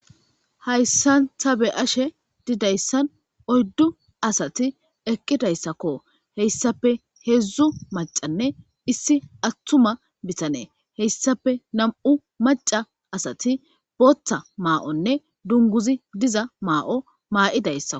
Hatissani ta beyashe dizayisani oyidu assati eqidayissako hayisappe hedzdzu maccane issi atuma hayistapenamu'u macca assati botha ma'o nne dunguzi diza mao mayidaysako